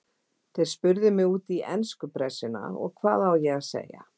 Þeir spurðu mig út í ensku pressuna og hvað á ég að segja?